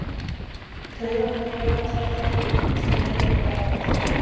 taugaboð berast eftir taugum sem veik rafboð